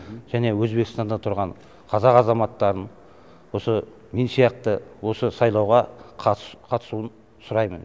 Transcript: және өзбекстанда тұрған қазақ азаматтарын осы мен сияқты осы сайлауға қатысуын сұраймын